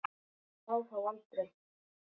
Sá það aldrei